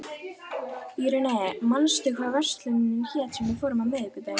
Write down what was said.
Irene, manstu hvað verslunin hét sem við fórum í á miðvikudaginn?